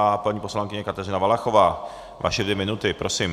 A paní poslankyně Kateřina Valachová, vaše dvě minuty, prosím.